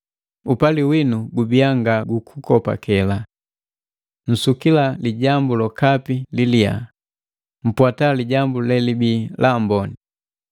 Upali winu gubia nga gukukopakela. Nsukila lijambu lokapi lilia, mpwata lijambu lelibi laamboni.